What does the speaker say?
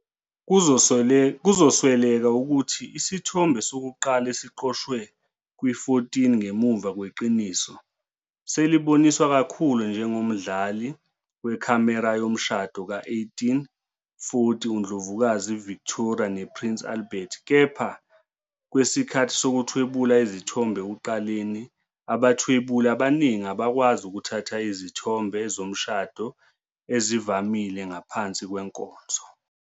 Kuzosweleka ukuthi isithombe sokuqala esiqoshwe kwi-14 ngemuva kweqiniso, seliboniswa kakhulu njengomdlali wekhamera yomshado ka-1840 uNdlovukazi Victoria nePrince Albert. Kepha kwesikhathi sokuthwebula izithombe ekuqaleni, abathwebuli abaningi abakwazi ukuthatha izithombe zomshado ezivamile ngaphansi kwenkonzo.